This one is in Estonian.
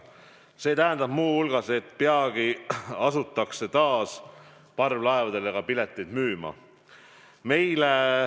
See tähendab muu hulgas, et peagi asutakse taas parvlaevadele ka pileteid müüma.